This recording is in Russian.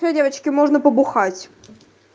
всё девочки можно побухать